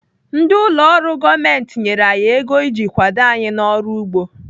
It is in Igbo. Ndị ụlọ ọrụ gọọmenti nyere anyị ego iji kwado anyị n'ọrụ ugbo.